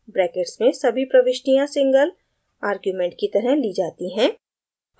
brackets में सभी प्रविष्टियाँ single आर्ग्युमेंट की तरह ली जाती हैं